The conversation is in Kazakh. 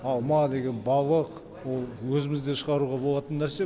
алма деген балық ол өзімізде шығаруға болатын нәрсе